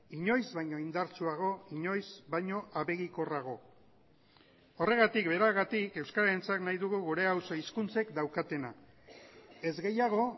inoiz baino indartsuago inoiz baino abegikorrago horregatik beragatik euskararentzat nahi dugu gure auzo hizkuntzek daukatena ez gehiago